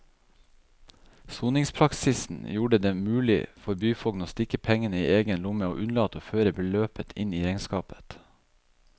Soningspraksisen gjorde det mulig for byfogden å stikke pengene i egen lomme og unnlate å føre beløpet inn i regnskapet.